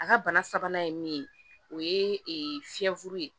A ka bana sabanan ye min ye o ye fiyɛfuru ye